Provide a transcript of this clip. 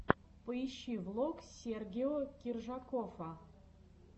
поищи влог сергео киржакоффа